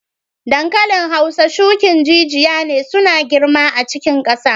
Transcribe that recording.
Dankalin Hausa shukin jijiya ne suna girma a cikin kasa.